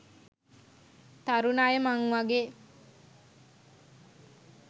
තරුණ අය මං වගේ